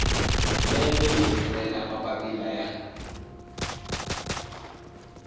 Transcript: lembe yi rhumela mapapila ya